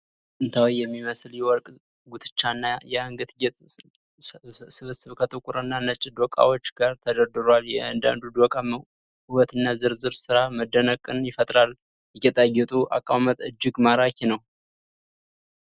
ጥንታዊ የሚመስል የወርቅ ጉትቻና የአንገት ጌጥ ስብስብ ከጥቁር እና ነጭ ዶቃዎች ጋር ተደርድሯል። የእያንዳንዱ ዶቃ ውበትና ዝርዝር ሥራ መደነቅን ይፈጥራል። የጌጣጌጡ አቀማመጥ እጅግ ማራኪ ነው።